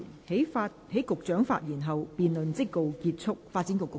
在局長發言後，辯論即告結束。